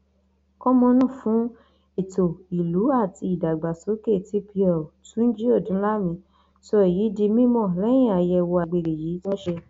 kọmọnàá fún ètò ìlú àti ìdàgbàsókè tpl tunji odunlami sọ èyí di mímọ lẹyìn àyẹwò àgbègbè yìí tí wọn ṣe